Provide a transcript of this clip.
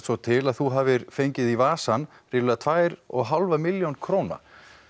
svo til að þú hafir fengið í vasann ríflega tvær og hálfa milljónir króna